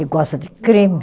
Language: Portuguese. Que gosta de crime.